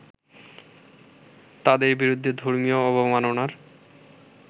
তাদের বিরুদ্ধে ধর্মীয় অবমাননার